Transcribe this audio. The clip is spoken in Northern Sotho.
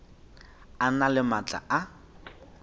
a na le maatla a